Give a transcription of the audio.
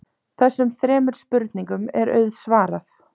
Þessum þremur spurningum er auðsvarað.